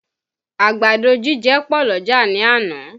Àgbàdo jíjẹ pọ̀ l'ọ́jà ní àná